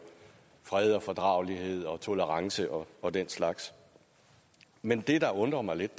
fred og fordragelighed og tolerance og og den slags men det der undrer mig lidt